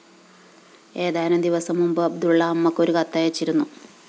ഏതാനും ദിവസം മുമ്പ് അബ്ദുള്ള അമ്മക്ക് ഒരു കത്തയച്ചിരുന്നു